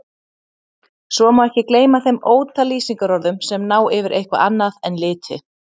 Svo má ekki gleyma þeim ótal lýsingarorðum sem ná yfir eitthvað annað en liti.